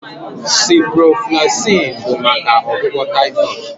Ciprofloxacin bụ maka ọgwụgwọ typhoid